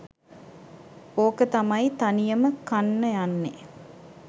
ඕක තමයි තනියම කන්න යන්නෙ